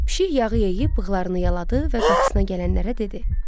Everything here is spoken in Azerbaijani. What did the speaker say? Pişik yağı yeyib bığlarını yaladı və qapısına gələnlərə dedi: